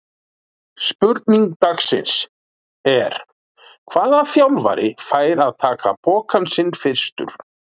Spurning dagsins er: Hvaða þjálfari fær að taka pokann sinn fyrstur?